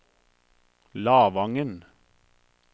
Lavangen